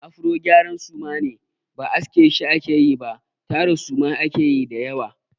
Afro gyara suma ne. Ba aske shi ake yi ba tara suma ake yi da yawa.